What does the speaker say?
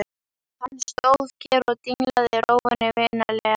Hann stóð kyrr og dinglaði rófunni vinalega.